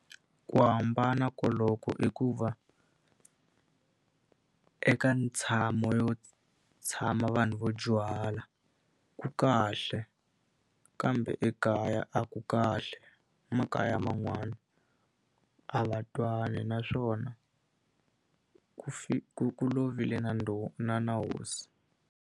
Ku hambana koloko i ku va eka ntshamo yo tshama vanhu vo dyuhala, ku kahle. Kambe ekaya a ku kahle, makaya man'wani a va twani naswona ku ku ku lovile na na na hosi.